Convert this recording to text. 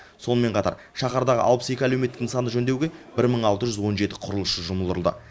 сонымен қатар шаһардағы алпыс екі әлеуметтік нысанды жөндеуге бір мың алты жүз он жеті құрылысшы жұмылдырылды